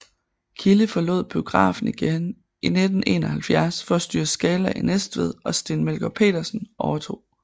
Kilde forlod biografen igen i 1971 for at styre Scala i Næstved og Steen Melgård Petersen overtog